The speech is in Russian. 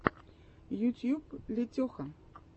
ютьюб летеха